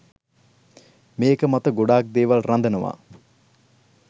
මේක මත ගොඩක් දේවල් රඳනවා.